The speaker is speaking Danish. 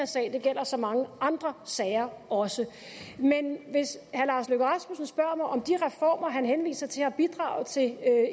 sag det gælder så mange andre sager også men hvis herre lars løkke rasmussen spørger mig om de reformer han henviser til har bidraget til